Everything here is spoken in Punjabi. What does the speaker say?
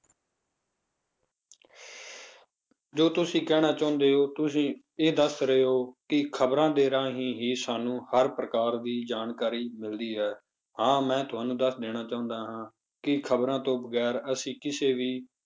ਜੋ ਤੁਸੀਂ ਕਹਿਣਾ ਚਾਹੁੰਦੇ ਹੋ ਤੁਸੀਂ ਇਹ ਦੱਸ ਰਹੇ ਹੋ ਕਿ ਖ਼ਬਰਾਂ ਦੇ ਰਾਹੀਂ ਹੀ ਸਾਨੂੰ ਹਰ ਪ੍ਰਕਾਰ ਦੀ ਜਾਣਕਾਰੀ ਮਿਲਦੀ ਹੈ ਹਾਂ ਮੈਂ ਤੁਹਾਨੂੰ ਦੱਸ ਦੇਣਾ ਚਾਹੁੰਦਾ ਹਾਂ ਕਿ ਖ਼ਬਰਾਂ ਤੋਂ ਵਗ਼ੈਰ ਅਸੀਂ ਕਿਸੇ ਵੀ